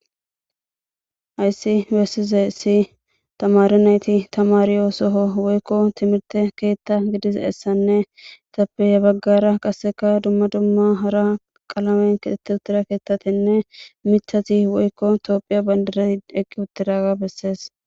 Haysi besizaysi tamare nayti tamarizaso woykon timirte keetha dizaysane etappe ya bagara qase duma duma hara qalamen kexeti utida kethatine mithati woykon tophiya bandiri eqi utidaga beses